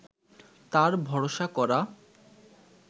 তার ভরসা করা